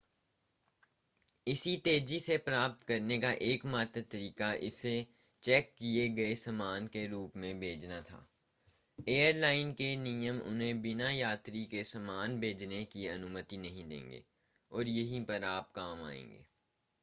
इसे तेज़ी से प्राप्त करने का एकमात्र तरीका इसे चेक किए गए सामान के रूप में भेजना था एयरलाइन के नियम उन्हें बिना यात्री के सामान भेजने की अनुमति नहीं देंगे और यहीं पर आप काम आएंगे